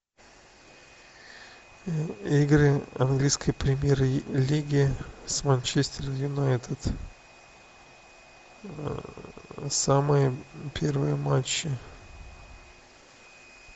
игры английской премьер лиги с манчестер юнайтед самые первые матчи